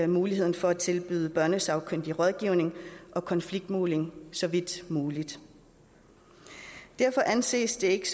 muligheden for at tilbyde børnesagkyndig rådgivning og konfliktmægling så vidt muligt derfor anses det ikke